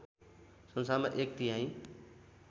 संसारमा एक तिहाइ